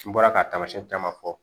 N bɔra ka tamasiyɛn caman fɔ